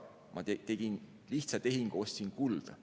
Ma tegin lihtsa tehingu, ostsin kulda.